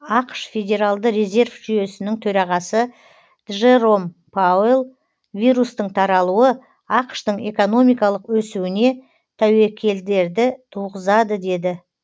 ақш федералды резерв жүйесінің төрағасы джером пауэлл вирустың таралуы ақш тың экономикалық өсуіне тәуекелдерді туғызады деді